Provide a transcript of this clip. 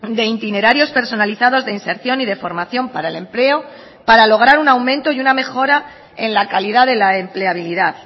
de itinerarios personalizados de inserción y de formación para el empleo para lograr un aumento y una mejora en la calidad de la empleabilidad